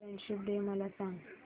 friendship day मला सांग